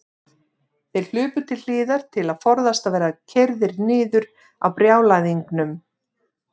Þeir hlupu til hliðar til að forðast að verða keyrðir niður af brjálæðingnum.